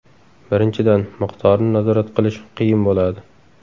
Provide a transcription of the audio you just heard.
Birinchidan, miqdorni nazorat qilish qiyin bo‘ladi.